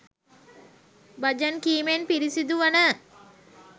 බජන් කීමෙන් පිරිසිදු වන